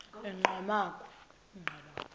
enqgamakhwe